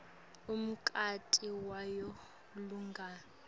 umnikati wayo ligunya